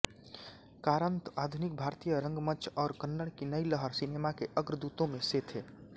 कारन्त आधुनिक भारतीय रंगमंच और कन्नड़ की नई लहर सिनेमा के अग्रदूतों में से थे